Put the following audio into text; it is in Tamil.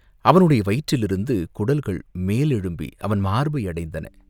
அவனுடைய வயிற்றிலிருந்து குடல்கள் மேலெழும்பி அவன் மார்பை அடைத்தன.